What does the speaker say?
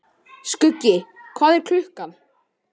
Skuggi, hvað er klukkan?